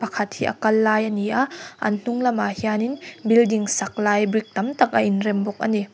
pakhat hi a kal lai a ni a an hnung lamah hianin building sak lai brick tam tak a inrem bawk a ni.